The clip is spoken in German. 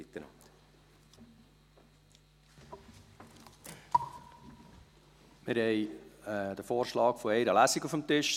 Wir haben den Vorschlag auf eine Lesung auf dem Tisch.